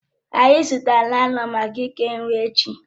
Anyị zụtara láị́lọn maka ike nri echi